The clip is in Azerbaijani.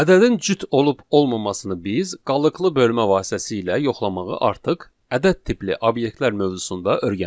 Ədədin cüt olub olmamasını biz qalıqlı bölmə vasitəsilə yoxlamağı artıq ədəd tipli obyektlər mövzusunda öyrəndik.